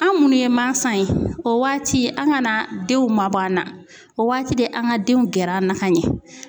An munnu ye mansa ye, o waati an kana denw mabɔ an na, o waati de an kan ka denw gɛrɛ an na ka ɲɛ.